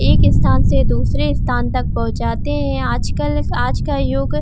इस स्थान से दूसरे स्थान तक पहुॅंचाते हैं आजकल आज का युग --